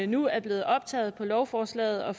nu er blevet optaget på lovforslaget og